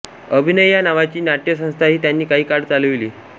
अभिनय या नावाची नाट्यसंस्थाही त्यांनी काही काळ चालविली